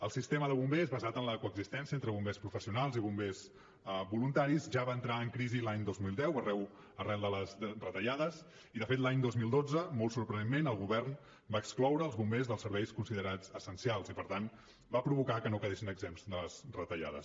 el sistema de bombers basat en la coexistència entre bombers professionals i bombers voluntaris ja va entrar en crisi l’any dos mil deu arran de les retallades i de fet l’any dos mil dotze molt sorprenentment el govern va excloure els bombers dels serveis considerats essencials i per tant va provocar que no quedessin exempts de les retallades